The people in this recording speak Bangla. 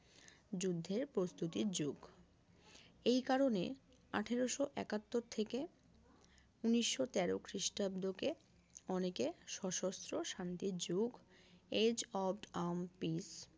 যুদ্ধের প্রস্তুতির যুগ এই কারণে আঠারোশো একাত্তর থেকে ঊনিশো তেরো খ্রিস্টাব্দ কে অনেকে সশস্ত্র শান্তির যুগ age of armed peace